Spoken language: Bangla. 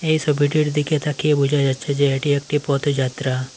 এই ছবিটির দিকে তাকিয়ে বোঝা যাচ্ছে যে এটি একটি পথযাত্রা।